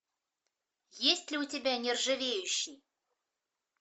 есть ли у тебя нержавеющий